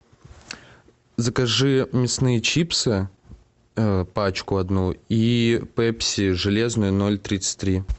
закажи мясные чипсы пачку одну и пепси железную ноль тридцать три